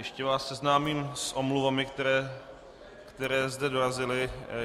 Ještě vás seznámím s omluvami, které sem dorazily.